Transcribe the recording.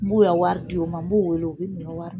N b'u ye wari di o ma, n b'u wele u bɛ n'o y'a wari